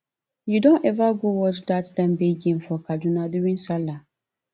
you don ever go watch dat dembe game for kaduna during sallah